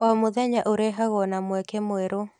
O mũthenya ũrehagwo na mweke mwerũ.